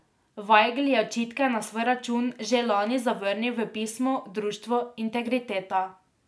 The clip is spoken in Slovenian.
Vajgl je očitke na svoj račun že lani zavrnil v pismu društvu Integriteta.